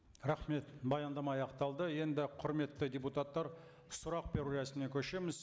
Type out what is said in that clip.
рахмет баяндама аяқталды енді құрметті депутаттар сұрақ беру рәсіміне көшеміз